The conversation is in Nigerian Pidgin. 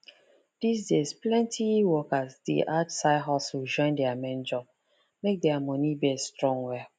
these days plenty workers dey add side hustle join their main job make their money base strong well